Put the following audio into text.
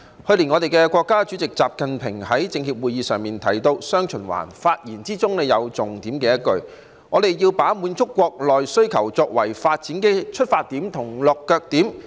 去年國家主席習近平在政協會議上提到"雙循環"，發言的重點是要把滿足國內需求作為發展的出發點和落腳點。